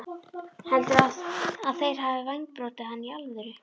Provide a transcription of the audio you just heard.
Heldurðu að þeir hafi vængbrotið hana í alvöru?